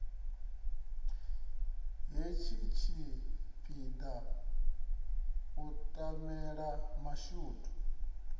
hetshi tshipiḓa u tamela mashudu